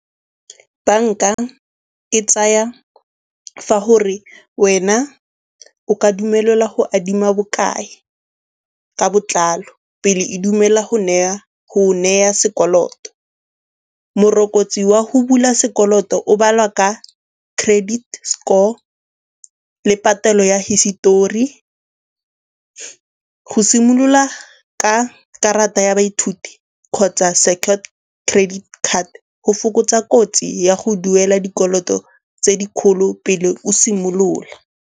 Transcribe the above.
Banka e tsaya fa gore wena o ka dumelelwa go adima bokae ka botlalo pele e dumela go neya sekoloto. Morokotso wa go bula sekoloto o baliwa ka credit score le patelo ya hisetori. Go simolola ka karata ya baithuti kgotsa secured credit card go fokotsa kotsi ya go duela dikoloto tse di kgolo pele o simolola.